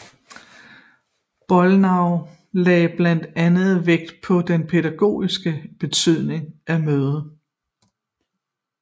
Bollnow lagde blandt andet vægt på den pædagogiske betydning af mødet